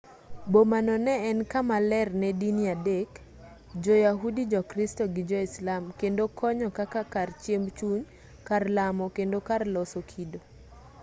bomano no en kama ler ne dini adek jo-yahudi jokristo gi joislam kendo konyo kaka kar chiemb chuny kar lamo kendo kar loso kido